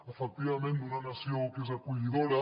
efectivament d’una nació que és acollidora